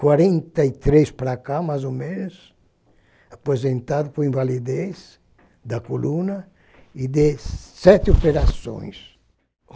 quarenta e três para cá, mais ou menos, aposentado por invalidez da coluna e de sete operações.